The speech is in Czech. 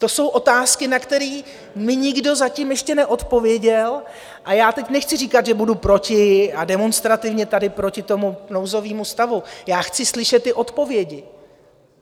To jsou otázky, na které mi nikdo zatím ještě neodpověděl, a já teď nechci říkat, že budu proti a demonstrativně tady proti tomu nouzovému stavu, já chci slyšet ty odpovědi.